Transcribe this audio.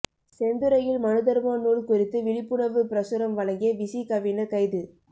செந்துறையில் மனுதர்ம நூல் குறித்து விழிப்புணர்வு பிரசுரம் வழங்கிய விசிகவினர் கைது